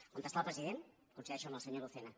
on està el president coincideixo amb el senyor lucena